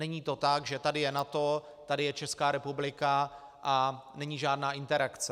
Není to tak, že tady je NATO, tady je Česká republika a není žádná interakce.